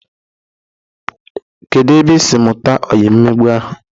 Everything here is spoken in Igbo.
Kedu ebe isiri mụta oyi mmegbu ahụ?